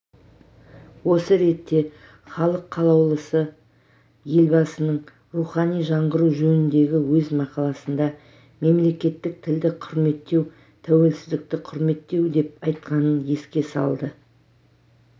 осы ретте халық қалаулысы елбасының рухани жаңғыру жөніндегі өз мақаласында мемлекеттік тілді құрметтеу тәуелсіздікті құрметтеу деп айтқанын еске салды